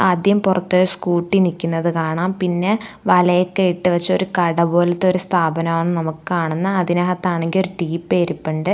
ആദ്യം പുറത്ത് സ്കൂട്ടി നിൽക്കുന്നത് കാണാം പിന്നെ വലയൊക്കെ ഇട്ടു വെച്ച ഒരു കട പോലത്തൊരു സ്ഥാപനാന്ന് നമുക്ക് കാണുന്നു അതിനാത്ത് ആണെങ്കിൽ ഒരു ടീപ്പോ ഇരിപ്പുണ്ട്.